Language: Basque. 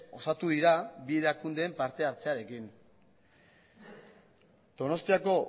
osatu dira bi erakundeen partehartzearekin donostiako